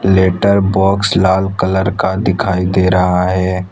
Letter box लाल colour का दिखाई दे रहा है।